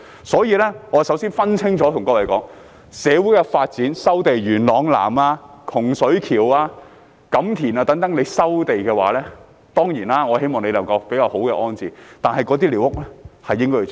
所以，我首先對各位說，要分清楚，若因社會發展而要收地，例如在元朗南、洪水橋、錦田等，我當然希望政府能夠作出比較好的安置，但寮屋是應該清拆的。